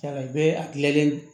I bɛ a gilannen